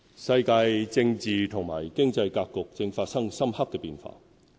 世界政治和經濟格局正發生深刻變化。